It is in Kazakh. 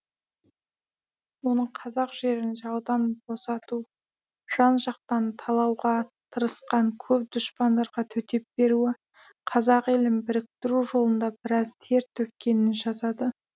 оның қазақ жерін жаудан босату жан жақтан талауға тырысқан көп дұшпандарға төтеп беруі қазақ елін біріктіру жолында біраз тер төккенін жазады